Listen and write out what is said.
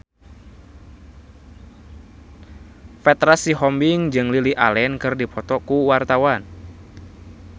Petra Sihombing jeung Lily Allen keur dipoto ku wartawan